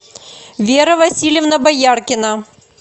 вера васильевна бояркина